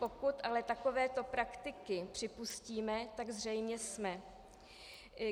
Pokud ale takovéto praktiky připustíme, tak zřejmě jsme.